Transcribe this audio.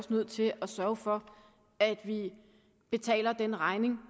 nødt til at sørge for at vi betaler den regning